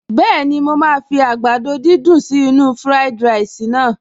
Bẹ́ẹ̀ni, mo máa fi àgbàdo dídùn sí inú-u fúráìdì ráìsì naa